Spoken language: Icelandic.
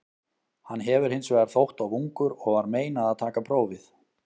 Hann hefur hins vegar þótt of ungur og var meinað að taka prófið.